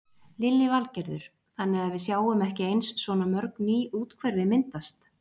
Lillý Valgerður: Þannig að við sjáum ekki eins svona mörg ný úthverfi myndast?